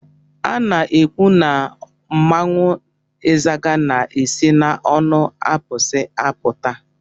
Ana ekwụ na mmanwụ izaga na-esi n'onu abusi apụta.